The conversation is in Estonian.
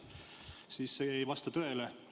See ei vasta tõele.